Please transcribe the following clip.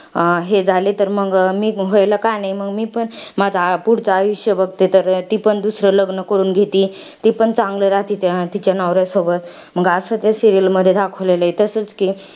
हे झाले तर मंग मी पण व्हायला का नाही? मंग मी पण माझा पुढचं आयुष्य बघते तर, ती पण दुसरं लग्न करून घेती. ती पण चांगलं राहती तिच्या नवऱ्यासोबत. मंग असं त्या serial मध्ये दाखवलेलं आहे. तसचं कि,